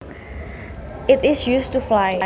It is used to fly